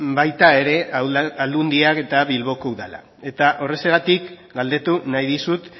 baita ere aldundiak eta bilboko udala eta horrexegatik galdetu nahi dizut